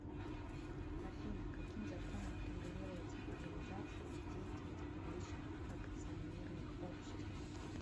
афина каким законом регулируется организация и деятельность публичных акционерных обществ